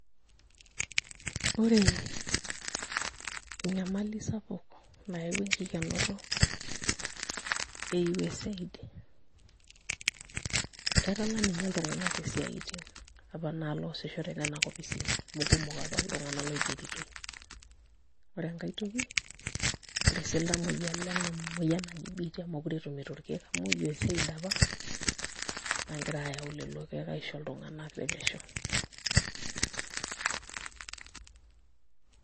Ore enyamali sapuk nayaua enkikenoto e USAID etala ninye iltung'anak isiaitin apa naa loosisho tenana ofisini amu kumok apa iltung'anak loigeritoi, ore enkai toki ore sii iltamuoyia lena moyian naji biitia meekure etumito irkeek amu USAID apa naagira ayau lelo keek aisho iltung'anak tepesho.